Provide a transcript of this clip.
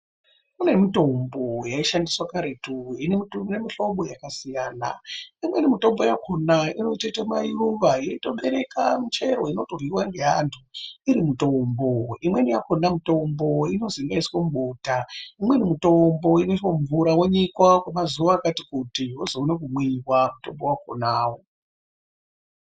Kune mutombo yaishandiswa karetu inemuhlobo yakasiyana. Imweni mitombo yakona inotoite mayuva yeitobereka michero inotoryiwa ngeantu iri mutombo. Imweni yakona mitombo inozwi inoiswe mubota. Imweni mutombo inoiswa mumvura wonyikwa kwemazuva akati kuti, wozoona kumwiwa mutombo wakonawo.